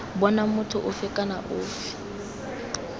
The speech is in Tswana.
bonang motho ofe kana ofe